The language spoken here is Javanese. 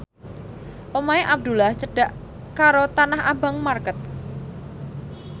omahe Abdullah cedhak karo Tanah Abang market